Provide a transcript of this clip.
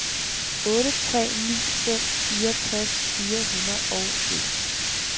otte tre ni fem fireogtres fire hundrede og en